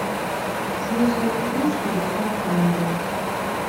свежая петрушка доставка на дом